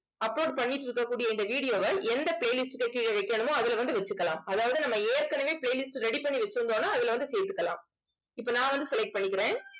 upload பண்ணிட்டு இருக்கக் கூடிய இந்த video வை எந்த playlist க்கு கீழே வைக்கணுமோ அதுல வந்து வச்சுக்கலாம் அதாவது நம்ம ஏற்கனவே playlist ready பண்ணி வச்சிருந்தோம்ன்னா அதுல வந்து சேர்த்துக்கலாம் இப்ப நான் வந்து select பண்ணிக்கிறேன்